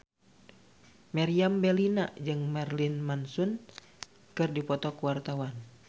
Meriam Bellina jeung Marilyn Manson keur dipoto ku wartawan